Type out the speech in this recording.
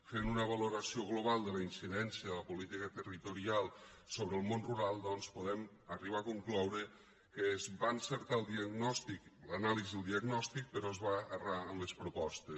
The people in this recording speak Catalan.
fent una valoració global de la incidència de la política territorial sobre el món rural doncs podem arribar a concloure que es va encertar l’anàlisi del diagnòstic però es va errar en les propostes